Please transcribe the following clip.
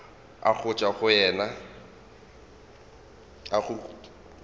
a go tšwa go yena